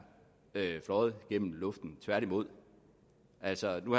fløjet gennem luften tværtimod altså nu